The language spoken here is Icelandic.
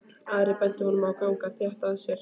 Ari benti honum að ganga þétt að sér.